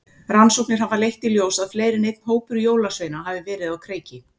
Rannsóknir hafa leitt í ljós að fleiri en einn hópur jólasveina hafa verið á kreiki.